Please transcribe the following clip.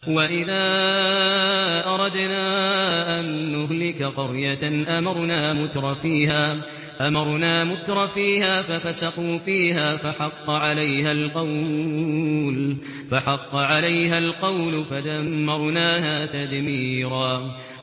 وَإِذَا أَرَدْنَا أَن نُّهْلِكَ قَرْيَةً أَمَرْنَا مُتْرَفِيهَا فَفَسَقُوا فِيهَا فَحَقَّ عَلَيْهَا الْقَوْلُ فَدَمَّرْنَاهَا تَدْمِيرًا